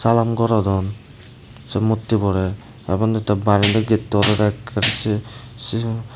salaam gorodon sei murtiborey tey uboni daw barendi getto olodey ekkey sei sijo.